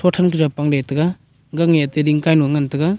than kajaw pangle taga gang nge ati dingkai nu ngan taga.